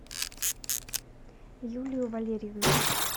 юлию валерьевну